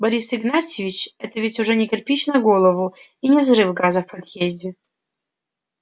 борис игнатьевич это ведь уже не кирпич на голову и не взрыв газа в подъезде